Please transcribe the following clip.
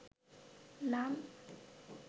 নাম